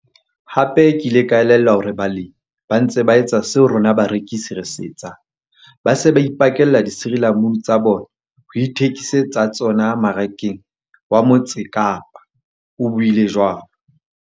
Hape ke ile ka elellwa hore balemi ba ntse ba etsa seo rona barekisi re se etsang - ba se ba ipakella disirila munu tsa bona ho ithekise tsa tsona Marakeng wa Mo tse Kapa, o buile jwalo.